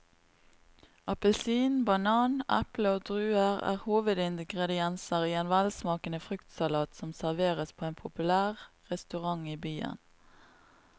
Appelsin, banan, eple og druer er hovedingredienser i en velsmakende fruktsalat som serveres på en populær restaurant i byen.